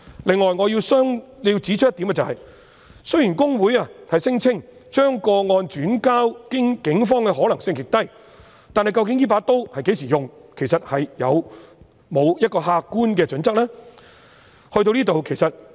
此外，我亦要指出一點，雖然公會聲稱將個案轉介警方的可能性極低，但究竟這把刀會在何時使用，有沒有客觀的準則？